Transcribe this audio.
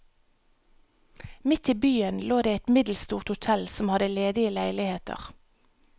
Midt i byen lå det et middelstort hotel som hadde ledige leiligheter.